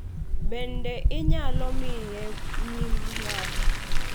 Bende inyalo miye nying ng'ato.